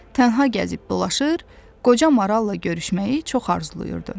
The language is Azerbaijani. Tənha gəzib dolaşır, qoca maralla görüşməyi çox arzulayırdı.